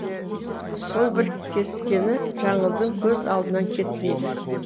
сол бір кескіні жаңылдың көз алдынан кетпейді